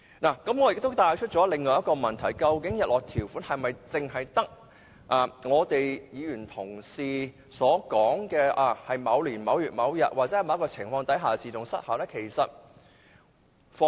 我亦想帶出另一個問題，就是究竟日落條款是否只有議員提出在某年某月某日或在某情況下自動失效的做法呢？